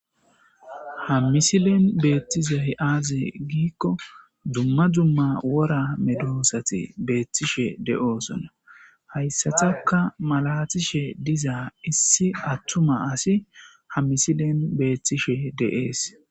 Ha misilen beettizay aaze giikko dumma dumma wora medoosati beettishe de'osona. Ha issataka malatishe dizaa issi attuma asi ha misilen beettishe dees.